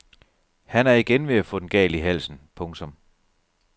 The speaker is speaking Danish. Han er igen ved at få den galt i halsen. punktum